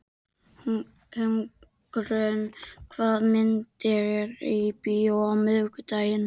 Hugrún, hvaða myndir eru í bíó á miðvikudaginn?